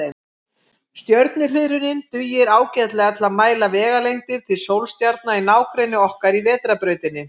Stjörnuhliðrunin dugir ágætlega til að mæla vegalengdir til sólstjarna í nágrenni okkar í Vetrarbrautinni.